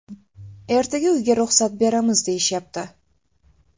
Ertaga uyga ruxsat beramiz deyishyapti.